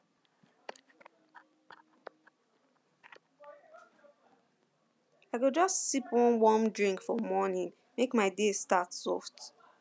i go just sip one warm drink for morning make my day start soft